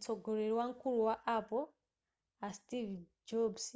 mtsogoleri wamkulu wa apple a steve jobs